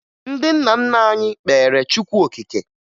Ndị nna nna anyị kpeere Chukwu okike